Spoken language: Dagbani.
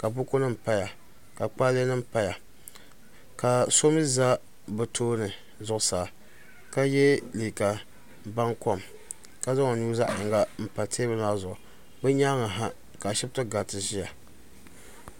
kabukunim paya ka kpalɛɛnim paya ka so mi za be tuuni zuɣ saa ka yɛ liga bankomi ka zaŋ o nu zaɣiyin pa o nyɛŋaha ka ashɛbitɛ karitɛ paya